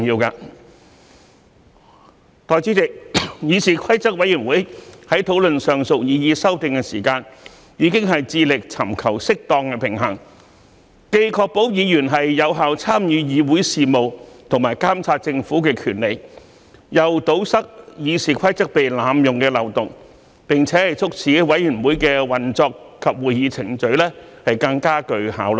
代理主席，議事規則委員會在討論上述擬議修訂時，已致力尋求適當的平衡，既確保議員有效參與議會事務和監察政府的權利，又堵塞《議事規則》被濫用的漏洞，並促使委員會的運作及會議程序更具效率。